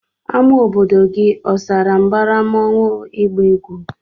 Ama obodo gi osara mbara mmụọnwu igba egwụ?